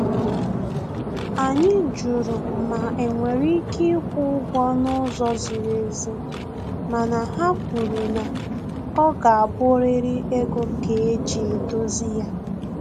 Anyị jụrụ ma enwere ike ikwu ụgwọ na ụzọ ziri ezi, mana ha kwuru na ọ ga abụriri ego ka eji edozi ya